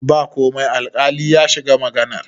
ba komai alkali ya shiga maganar